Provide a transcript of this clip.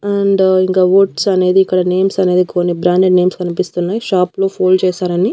And ఇంకా oats అనేది ఇక్కడ నేమ్స్ అనేది కొన్ని బ్రాండెడ్ నేమ్స్ కనిపిస్తున్నాయి షాప్ లో ఫోల్డ్ చేశారని.